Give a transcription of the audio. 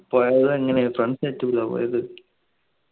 പോയതെങ്ങനെ friends പോയത്